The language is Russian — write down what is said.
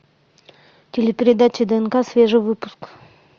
телепередача днк свежий выпуск